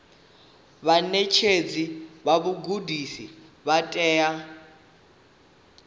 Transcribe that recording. vhaṋetshedzi vha vhugudisi vha tea